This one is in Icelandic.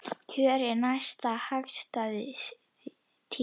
Kjör er næsta hagstæð tíð.